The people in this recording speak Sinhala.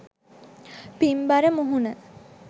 පින්බර මුහුණ